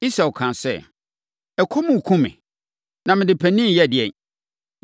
Esau kaa sɛ, “Ɔkɔm rekum me, na mede panin reyɛ ɛdeɛn?”